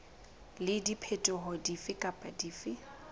le diphetoho dife kapa dife